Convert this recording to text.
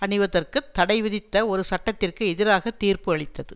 அணிவதற்குத் தடை விதித்த ஒரு சட்டத்திற்கு எதிராக தீர்ப்பு அளித்தது